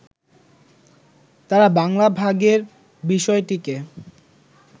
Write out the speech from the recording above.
তাঁরা বাংলা ভাগের বিষয়টিকে